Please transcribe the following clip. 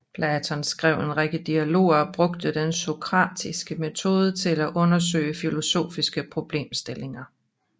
Platon skrev en række dialoger og brugte den sokratiske metode til at undersøge filosofiske problemstillinger